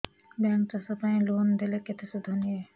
bank ଚାଷ ପାଇଁ loan ଦେଲେ କେତେ ସୁଧ ନିଏ